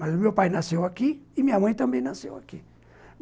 Mas o meu pai nasceu aqui e minha mãe também nasceu aqui.